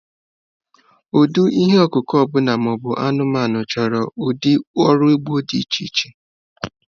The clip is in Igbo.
Ụdị ihe ọkụkụ ọbụla ma ọ bụ anụmanụ chọrọ ụdị ọrụ ugbo dị iche iche.